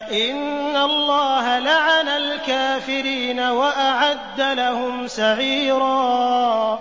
إِنَّ اللَّهَ لَعَنَ الْكَافِرِينَ وَأَعَدَّ لَهُمْ سَعِيرًا